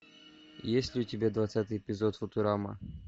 есть ли у тебя двадцатый эпизод футурамы